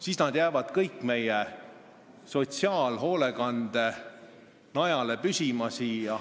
Siis nad jäävad kõik meie sotsiaalhoolekande najale.